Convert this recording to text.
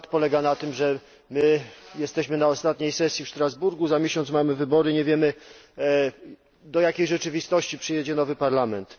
Dramat polega na tym, że my jesteśmy na ostatniej sesji w Strasburgu, za miesiąc mamy wybory i nie wiemy do jakiej rzeczywistości przyjedzie nowy Parlament.